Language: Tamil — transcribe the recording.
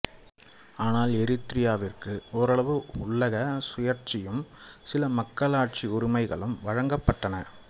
ஆனால் எரித்திரியாவிற்கு ஒரளவு உள்ளக சுயாட்சியும் சில மக்களாட்சி உரிமைகளும் வழங்கப்பட்டன